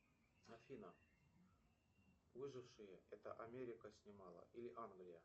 афина выжившие это америка снимала или англия